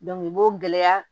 i b'o gɛlɛya